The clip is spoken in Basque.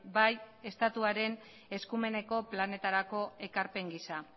bai estatuaren eskumeneko planetarako ekarpen giza